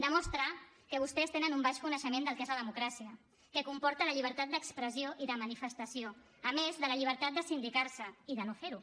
demostra que vostès tenen un baix coneixement del que és la democràcia que comporta la llibertat d’expressió i de manifestació a més de la llibertat de sindicar se i de no fer ho